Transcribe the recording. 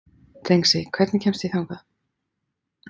Dengsi, hvernig kemst ég þangað?